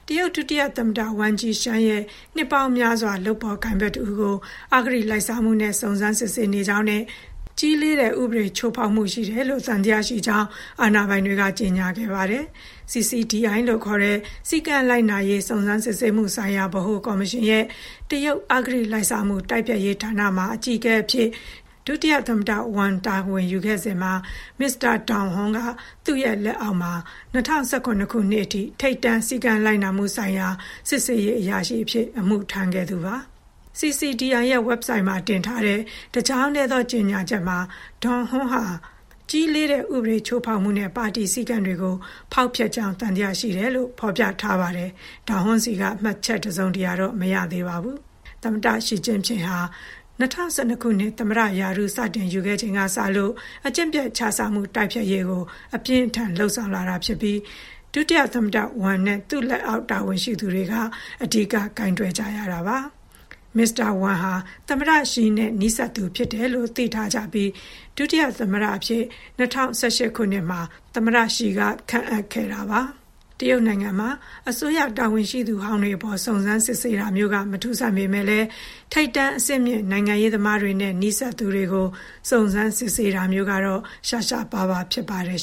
တရုတ်ဒုတိယသမ္မတ Wang Qishan ရဲ့ နှစ်ပေါင်းများစွာကြာ လုပ်ဖော်ကိုင်ဘက်တဦးကို အဂတိလိုက်စားမှုနဲ့ စုံစမ်းစစ်ဆေးနေကြောင်းနဲ့ ကြီးလေးတဲ့ ဥပဒေချိုးဖောက်မှုရှိတယ်လို့ သံသယရှိကြောင်း အာဏာပိုင်တွေက ကြေညာခဲ့ပါတယ်။ CCDI လို့ခေါ်တဲ့ စည်းကမ်းလိုက်နာရေး စုံစမ်းစစ်ဆေးမှုဆိုင်ရာ ဗဟိုကော်မရှင်ရဲ့ တရုတ် အဂတိလိုက်စားမှု တိုက်ဖျက်ရေးဌာနမှာ အကြီးအကဲအဖြစ် ဒုသမ္မတ Wang တာဝန်ယူခဲ့စဉ်မှာ မစ္စတာ Dong Hong က သူ့လက်အောက်မှာ ၂၀၁၇ ခုနှစ်အထိ ထိပ်တန်း စည်းကမ်းလိုက်နာမှုဆိုင်ရာ စစ်ဆေးရေးအရာရှိအဖြစ် အမှုထမ်းခဲ့သူပါ။ CCDI ရဲ့ ဝက်ဘ်ဆိုက်မှာ တင်ထားတဲ့ တကြောင်းတည်းသော ကြေညာချက်မှာ “Dong Hong ဟာ ကြီးလေးတဲ့ ဥပဒေချိုးဖောက်မှုနဲ့ ပါတီစည်းကမ်းတွေကို ဖောက်ဖျက်ခဲ့ကြောင်း သံသယရှိတယ်” လို့ ဖော်ပြထားပါတယ်။ Dong Hong ဆီက မှတ်ချက်တစုံတရာတော့ မရသေးပါဘူး။ သမ္မတ ရှီကျင်းဖျင်ဟာ ၂၀၁၂ ခုနှစ် သမ္မတရာထူး စတင်ရယူခဲ့ချိန်ကစလို့ အကျင့်ပျက်ခြစားမှု တိုက်ဖျက်ရေးကို အပြင်းအထန် လုပ်ဆောင်လာတာဖြစ်ပြီး ဒုသမ္မတ Wang နဲ့ သူ့လက်အောက် တာဝန်ရှိသူတွေက အဓိက ကိုင်တွယ်ကြရတာပါ။ မစ္စတာ Wang ဟာ သမ္မတရှီနဲ့ နီးစပ်သူဖြစ်တယ်လို့ သိထားကြပြီး ဒုသမ္မတအဖြစ် ၂၀၁၈ ခုနှစ်မှာ သမ္မတရှီက ခန့်အပ်ခဲ့တာပါ။ တရုတ်နိုင်ငံမှာ အစိုးရတာဝန်ရှိသူဟောင်းတွေအပေါ် စုံစမ်းစစ်ဆေးတာမျိုးက မထူးဆန်းပေမယ့်လည်း ထိပ်တန်း အဆင့်မြင့် နိုင်ငံရေးသမားတွေနဲ့ နီးစပ်သူတွေကို စုံစမ်းစစ်ဆေးတာမျိုးကတော့ ရှားရှားပါးပါး ဖြစ်ပါတယ်